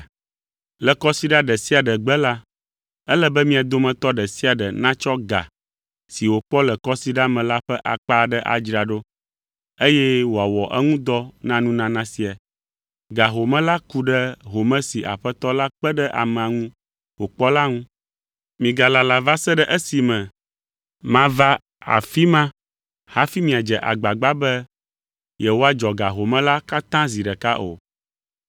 Le Kɔsiɖa ɖe sia ɖe gbe la, ele be mia dometɔ ɖe sia ɖe natsɔ ga si wòkpɔ le kɔsiɖa me la ƒe akpa aɖe adzra ɖo, eye wòawɔ eŋu dɔ na nunana sia. Ga home la ku ɖe home si Aƒetɔ la kpe ɖe amea ŋu wòkpɔ la ŋu. Migalala va se ɖe esime mava afi ma hafi miadze agbagba be yewoadzɔ ga home la katã zi ɖeka o.